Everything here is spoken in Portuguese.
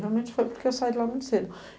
Realmente foi porque eu saí de lá muito cedo.